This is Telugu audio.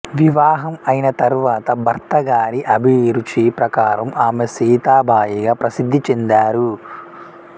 వివాహం అయిన తరువాత భర్తగారి అభిరుచిప్రకారం ఆమె సీతాబాయిగా ప్రసిధ్ధి చెందారు